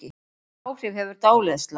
Hvaða áhrif hefur dáleiðsla?